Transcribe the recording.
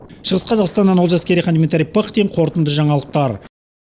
шығыс қазақстаннан олжас керейхан дмитрий пыхтин қорытынды жаңалықтар